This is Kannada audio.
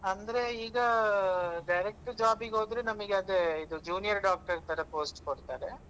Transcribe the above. ಅಂದ್ರೆ ಈಗಾ direct job ಗೆ ಹೋದ್ರೆ ನಮಗೆ ಅದೆ ಇದು junior doctor ತರ post ಕೊಡ್ತಾರೆ.